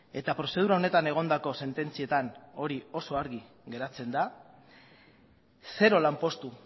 eta prozedura honetan egondako sententzietan hori oso argi geratzen da zero lanpostu